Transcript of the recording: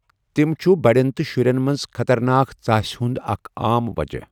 تم چھُ بڑٮ۪ن تہٕ شُرٮ۪ن منٛز خطرناک ژاسہِ ہٗند اکھ عام وجہہ۔